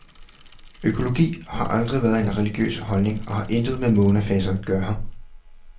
Økologi har aldrig været en religiøs holdning og har intet med månefaser at gøre.